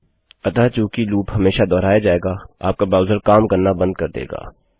अतः चूँकि लूप हमेशा दोहराया जायेगा आपका ब्राउज़र काम करना बंद कर देगा